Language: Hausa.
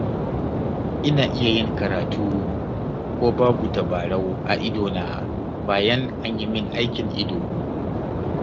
Ina iya yin karatu ko babu tabarau a idona, bayan an yi min aikin ido.